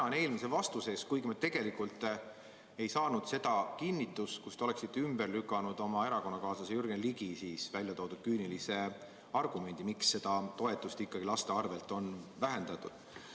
Ma tänan eelmise vastuse eest, kuigi me tegelikult ei saanud kinnitust, millega te oleksite ümber lükanud oma erakonnakaaslase Jürgen Ligi esitatud küünilise argumendi, miks lastele suunatud toetust on vähendatud.